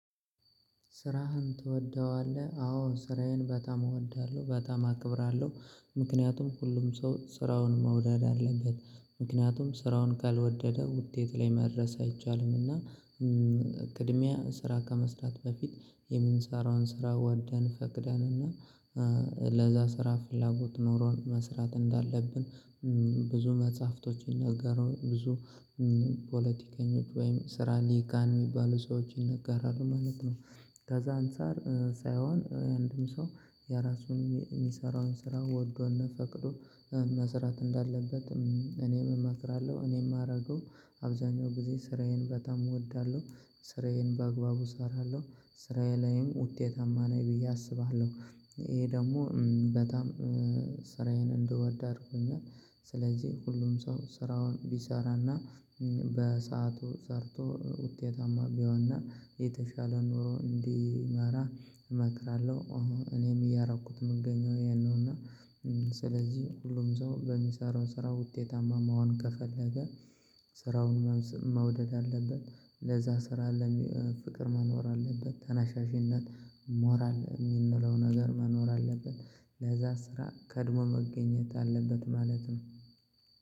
ስራህን ትወደዋለህ? አዎ ስራዬን በጣም እወዳለሁ በጣም አከብራለሁ ምክንያቱም ሁሉም ሰው ስራውን መውደድ አለበት ምክንያቱም ስራውን ካልወደደ ውጤት ላይ መድረስ አይቻልም። እና ቅድሚያ ስራ ከመስራት በፊት የምንሰራውን ስራ ወደን ፈቅደን እና ለዛ ስራ ፍላጎት ኖሮን መስራት እንዳለብን ብዙ መጽሐፍቶች ይነገሩ ብዙ ፖለቲከኞች ወይም ስራ ሊቃን የሚባሉ ሰዎች ይነገራሉ ማለት ነው። ከዛ አንፃር ሳይሆን የአንድን ሰው የራሱን የሚሰራውን ስራ ወዶና ፈቅዶ መስራት እንዳለበት እኔም እመክራለሁ። እኔም የማደርገው አብዛኛው ጊዜ ስራዬን በጣም እወዳለሁ። ስራዬን በአግባቡ እሰራለሁ ስራዬ ላይም ውጤታማ ነኝ ብዬ አስባለሁ። ይሄ ደግሞ በጣም ስራዬን እንድወድ አድርጎኛል። ስለዚህ ሁሉም ሰው ስራውን ቢሰራና በሰአቱ ሰርቶ ውጤታማ ቢሆንና የተሻለ ኖሮ እንዲመራ እመክራለሁ። እኔም እያረኩት የምገኘው ያን ነው እና ስለዚህ ሁሉም ሰው በሚሰራው ስራ ውጤታማ መሆን ከፈለገ ስራውን መውደድ አለበት። ለዛ ስራ ፍቅር መኖር አለበት ተነሳሻሽነት ሞራል የምንለው ነገር መኖር አለበት። ለዛ ስራ ቀድሞ መገኘት አለበት ማለት ነው።